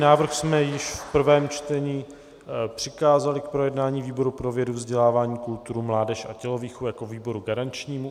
Návrh jsme již v prvém čtení přikázali k projednání výboru pro vědu, vzdělávání, kulturu, mládež a tělovýchovu jako výboru garančnímu.